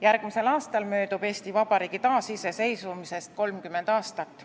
Järgmisel aastal möödub Eesti Vabariigi taasiseseisvumisest 30 aastat.